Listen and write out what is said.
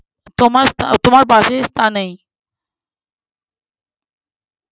তোমার তোমার পাশের স্থানেই